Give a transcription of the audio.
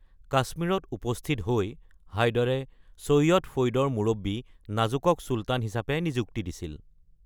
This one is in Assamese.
কাশ্মীৰত উপস্থিত হৈ হাইদাৰে ছৈয়দ ফৈদৰ মুৰব্বী নাজুকক চুলতান হিচাপে নিযুক্তি দিছিল।